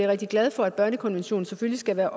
rigtig glad for at børnekonventionen selvfølgelig skal være